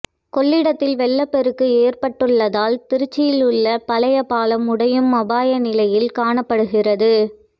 கொள்ளிடத்தில் வெள்ளப்பெருக்கு ஏற்பட்டுள்ளதால் திருச்சியில் உள்ள பழைய பாலம் உடையும் அபாய நிலையில் காணப்படுகிறது